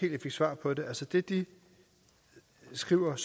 svar på det altså det de skriver og